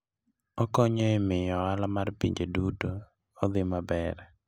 Okonyo e miyo ohala mar pinje duto odhi maber.